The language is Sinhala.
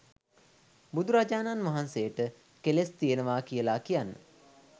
බුදුරජාණන් වහන්සේට කෙලෙස් තියෙනවා කියලා කියන්න